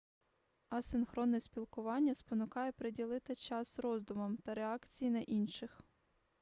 асинхронне спілкування спонукає приділити час роздумам та реакції на інших